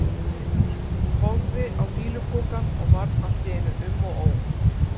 Horfði á fýlupokann og varð allt í einu um og ó.